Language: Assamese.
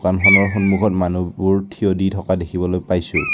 দোকানখনৰ সন্মুখত মানুহবোৰ থিয় দি থকা দেখিবলৈ পাইছোঁ।